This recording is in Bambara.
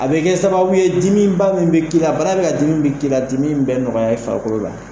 A bɛ kɛ sababu ye dimiba min bɛ k'i la ,bana bɛ ka dimi ba minu k'i la, dimi in bɛ nɔgɔya i fakɔrɔ la.